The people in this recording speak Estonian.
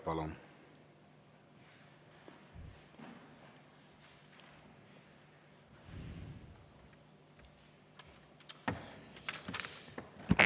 Palun!